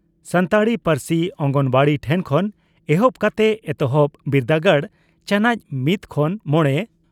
ᱥᱟᱱᱛᱟᱲᱤ ᱯᱟᱹᱨᱥᱤ ᱚᱝᱜᱚᱱᱣᱟᱰᱤ ᱴᱷᱮᱱ ᱠᱷᱚᱱ ᱮᱦᱚᱵ ᱠᱟᱛᱮ ᱮᱛᱚᱦᱚᱵ ᱵᱤᱨᱫᱟᱹᱜᱟᱲ (ᱪᱟᱱᱚᱪ ᱢᱤᱛ ᱠᱷᱚᱱ ᱢᱚᱲᱮ )